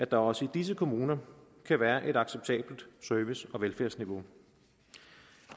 der også i disse kommuner kan være et acceptabelt service og velfærdsniveau